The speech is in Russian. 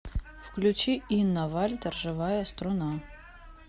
включи инна вальтер живая струна